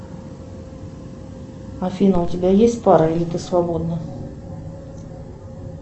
афина у тебя есть пара или ты свободна